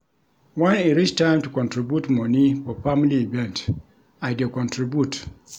Wen e reach time to contribute moni for family event, I dey contribute.